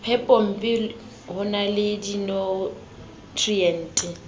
phepompe ho na le dinutriente